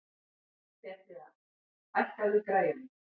Petrea, hækkaðu í græjunum.